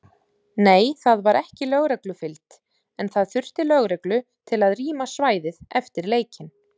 Nei það var ekki lögreglufylgd en það þurfti lögreglu til að rýma svæðið eftir leikinn.